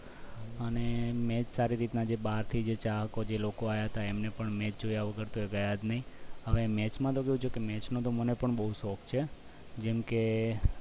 અને match જે સારી રીતે બહારથી જે ચાહકો હતા એમને પણ match જોયા વગર ગયા જ નહીં હવે match નું કેવું છે કે match નો તો મને પણ બહુ શોખ છે જેમકે